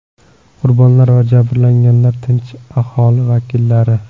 Qurbonlar va jabrlanganlar tinch aholi vakillari.